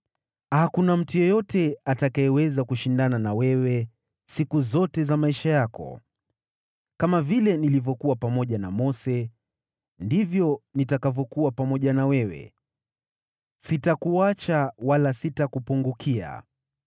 Hakuna mtu yeyote atakayeweza kushindana na wewe siku zote za maisha yako. Kama vile nilivyokuwa pamoja na Mose, ndivyo nitakavyokuwa pamoja na wewe, sitakuacha wala sitakupungukia.